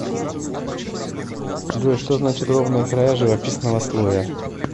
джой что значит ровные края живописного слоя